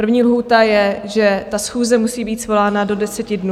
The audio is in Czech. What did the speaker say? První lhůta je, že ta schůze musí být svolána do deseti dnů.